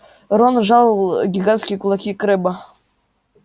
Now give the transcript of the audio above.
рон сжал гигантские кулаки крэбба